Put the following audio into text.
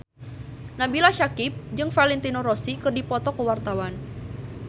Nabila Syakieb jeung Valentino Rossi keur dipoto ku wartawan